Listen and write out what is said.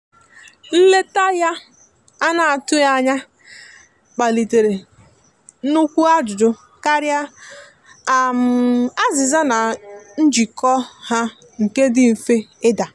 nleta ya ana atụghi anya kpalitere nukwụ ajụjụ karịa azìza na njiko ha nke di mfe ida